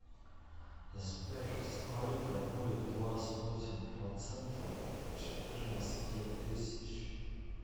сбер сколько будет двадцать восемь процентов от четырнадцати тысяч